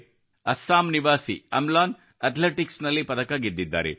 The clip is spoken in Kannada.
ಅಸ್ಸಾಂ ನಿವಾಸಿ ಅಮ್ಲಾನ್ ಅಥ್ಲೆಟಿಕ್ಸ್ನಲ್ಲಿ ಪದಕ ಗೆದ್ದಿದ್ದಾರೆ